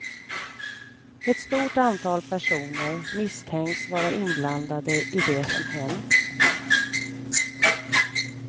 Ett stort antal personer misstänks vara inblandade i det som hänt.